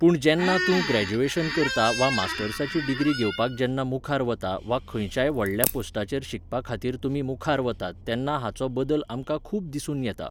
पूण जेन्ना तूं ग्रॅजुएशन करता वा मास्टर्साची डिग्री घेवपाक जेन्ना मुखार वता वा खंयच्याय व्हडल्या पोस्टाचेर शिकपा खातीर तुमी मुखार वतात तेन्ना हाचो बदल आमकां खूब दिसून येता.